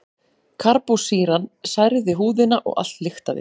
Karbólsýran særði húðina og allt lyktaði.